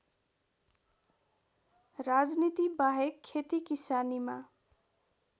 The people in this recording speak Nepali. राजनीति बाहेक खेतीकिसानीमा